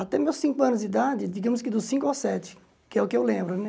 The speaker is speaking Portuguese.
Até meus cinco anos de idade, digamos que dos cinco aos sete, que é o que eu lembro, né?